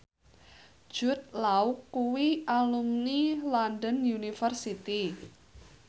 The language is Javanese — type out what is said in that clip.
Jude Law kuwi alumni London University